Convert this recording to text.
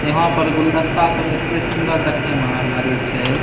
यहाँ पे गुलदस्ता सब एते सुन्दर देखे में आर लागे छै।